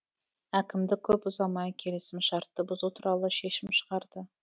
әкімдік көп ұзамай келісім шартты бұзу туралы шешім шығарды